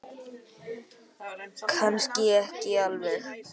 Kannski ekki alveg.